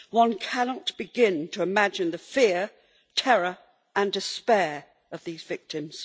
One cannot begin to imagine the fear, terror and despair of these victims.